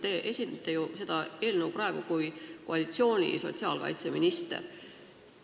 Te esitlete seda eelnõu kui koalitsiooni sotsiaalkaitseminister.